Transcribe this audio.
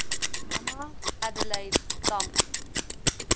mama adelaide tambo